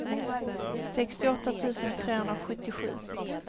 sextioåtta tusen trehundrasjuttiosju